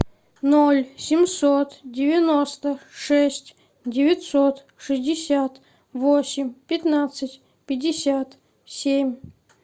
ноль семьсот девяносто шесть девятьсот шестьдесят восемь пятнадцать пятьдесят семь